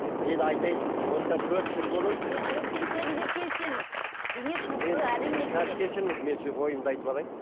мен айтайын сізге осыдан төрт жыл бұрын қазір кешіріңіз мен ойымды айтып алайын